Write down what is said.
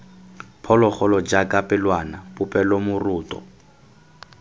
phologolo jaaka pelwana popelo moroto